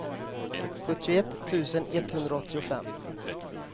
sjuttioett tusen etthundraåttiofem